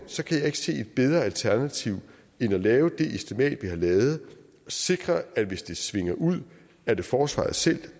kan jeg ikke se et bedre alternativ end at lave det estimat vi har lavet og sikre at hvis det svinger ud er det forsvaret selv